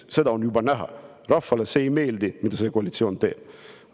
Seda on juba näha, et rahvale ei meeldi, mida see koalitsioon teeb.